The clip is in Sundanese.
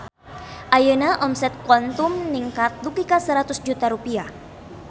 Ayeuna omset Quantum ningkat dugi ka 100 juta rupiah